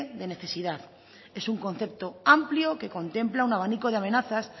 de necesidad es un concepto amplio que contempla un abanico de amenazas